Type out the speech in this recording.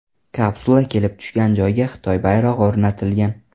Kapsula kelib tushgan joyga Xitoy bayrog‘i o‘rnatilgan.